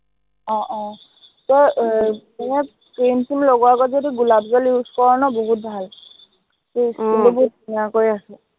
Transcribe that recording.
আহ আহ তই এৰ মানে cream চ্ৰীম লগোৱাৰ আগত যদি গোলাপ জল use কৰ ন, বহুত ভাল। তোৰ skin টো বহুত ধুনীয়া কৰি ৰাখে।